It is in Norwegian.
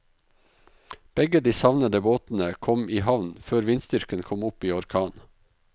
Begge de savnede båtene kom i havn før vindstyrken kom opp i orkan.